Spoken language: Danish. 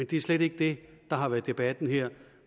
det er slet ikke det der har været debatten her